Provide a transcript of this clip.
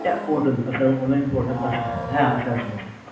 portal আচ্ছা, online portal আচ্ছা, হ্যাঁ আছে আছে আছে।